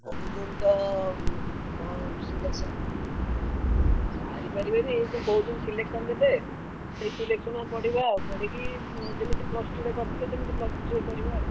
କହୁଛନ୍ତି ତ ଉଁ କଣ selection ସାରିପାରିବେନି ଏଇ ଯେ କହୁଛନ୍ତି selection ଦେବେ। ସେଇ selection ରୁ ପଡିବ ଆଉ ପଢିକି ଯେମିତି plus two ରେ କରି ଥିଲେ ସେମିତି plus three ରେ କରିବା ଆଉ।